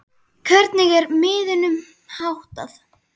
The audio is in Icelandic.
Hvernig er miðunum háttað?